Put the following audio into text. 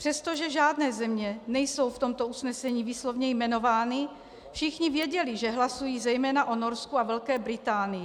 Přestože žádné země nejsou v tomto usnesení výslovně jmenovány, všichni věděli, že hlasují zejména o Norsku a Velké Británii.